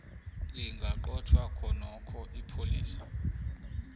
lingaqotjhwa khonokho ipholisa